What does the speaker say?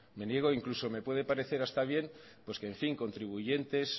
me niego incluso me puede parecer hasta bien que contribuyentes